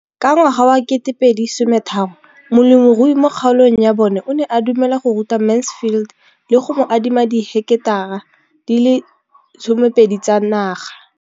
Ka ngwaga wa 2013, molemirui mo kgaolong ya bona o ne a dumela go ruta Mansfield le go mo adima di heketara di le 12 tsa naga.